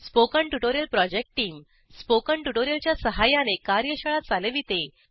spoken tutorial project team spoken tutorial च्या सहाय्याने कार्यशाळा चालविते